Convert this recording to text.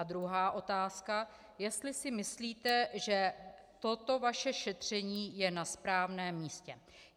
A druhá otázka, jestli si myslíte, že toto vaše šetření je na správném místě.